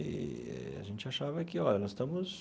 Eee a gente achava que, olha, nós estamos...